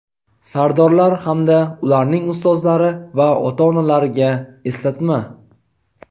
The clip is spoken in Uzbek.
sardorlar hamda ularning ustozlari va ota-onalariga eslatma.